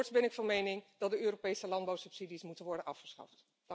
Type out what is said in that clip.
En voorts ben ik van mening dat de Europese landbouwsubsidies moeten worden afgeschaft.